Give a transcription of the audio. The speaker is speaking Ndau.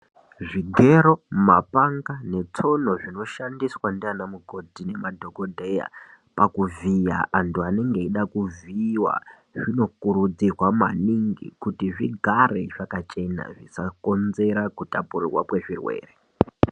Zvigero ,mapanga ne tsono zvinoshandiswa ndina mukoti nemadhokodheya pakuvhiya antu anenge eida kuvhiyiwa zvinokurudzirwa maningi kuti zvigare zvakachena zvisakonzera kutapurwa kwezvirwere.